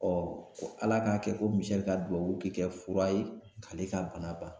ala k'a kɛ ko Misɛli ka duwawu ke kɛ fura ye k'ale ka bana ban.